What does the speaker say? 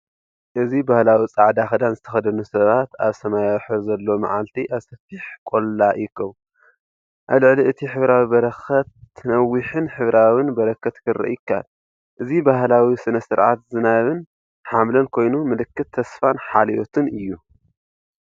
እዚ ባህላዊ ጻዕዳ ክዳን ዝተኸድኑ ሰባት ኣብ ሰማያዊ ሕብሪ ዘለዎ መዓልቲ ኣብ ሰፊሕ ቆላ ይእከቡ። ኣብ ልዕሊ እቲ ሕብራዊ በረኸት ነዊሕን ሕብራዊን በረኸት ክርአ ይከኣል። እዚ ባህላዊ ስነ-ስርዓት ዝናብን ሓምለን ኮይኑ፡ ምልክት ተስፋን ሓልዮትን እዩ።